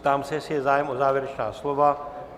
Ptám se, jestli je zájem o závěrečná slova.